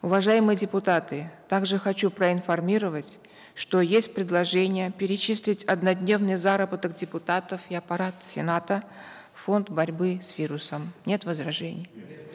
уважаемые депутаты также хочу проинформировать что есть предложение перечислить однодневный заработок депутатов и аппарата сената в фонд борьбы с вирусом нет возражений